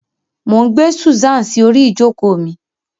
Mo n gbe Susan si ori ijoko mi.